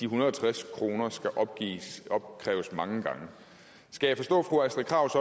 hundrede og tres kroner skal opkræves mange gange skal jeg forstå fru astrid krag